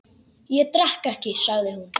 Ég drekk ekki, sagði hún.